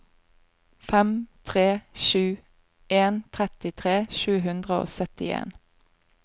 fem tre sju en trettitre sju hundre og syttien